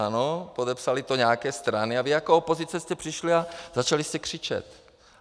Ano, podepsaly to nějaké strany a vy jako opozice jste přišli a začali jste křičet.